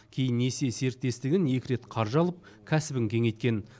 кейін несие серіктестігін екі рет қаржы алып кәсібін кеңейткен